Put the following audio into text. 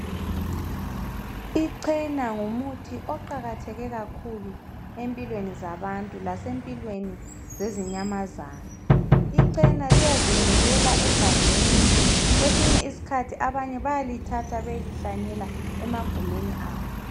Ichena ngumuthi oqakatheke kakhulu empilweni zabantu lasempilweni zezinyamazana. Ichena liyazimilela egangeni, kwesinye isikhathi abanye bayalithatha beyelihlanyela emagumeni abo.